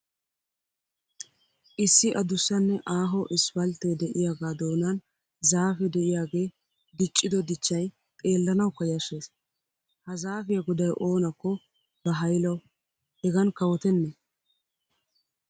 Issi adussanne aaho isippalttee de'iyagaa doonan zaafe de'iyagee diccido dichchay xeellanawukka yashshees. Ha zaafiya goday oonakko ba haylawu hegan kawotenne!